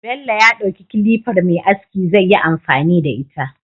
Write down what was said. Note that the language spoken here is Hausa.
Bello ya dauki kilifar Me aski zai yi amfani da ita